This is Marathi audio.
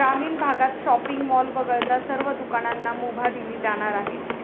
ग्रामीण भागत शॉपिंग मॉल वगळता सर्व दुकानांना मुभा दिली जाणार आहे.